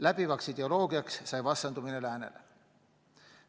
Läbivaks ideoloogiaks sai vastandumine läänele.